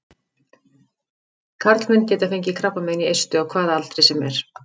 Karlmenn geta fengið krabbamein í eistu á hvaða aldri sem er.